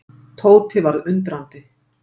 Tóti varð undrandi.